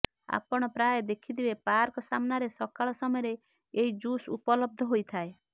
ଆପଣ ପ୍ରାୟ ଦେଖିଥିବେ ପାର୍କ ସାମ୍ନାରେ ସକାଳ ସମୟରେ ଏହି ଜୁସ୍ ଉପଲବ୍ଧ ହୋଇଥାଏ